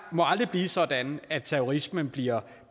må aldrig blive sådan at terrorisme bliver